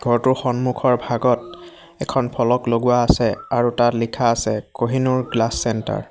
ঘৰটোৰ সন্মুখৰ ভাগত এখন ফলক লগোৱা আছে আৰু তাত লিখা আছে কহিনুৰ গ্লাচ চেন্টাৰ ।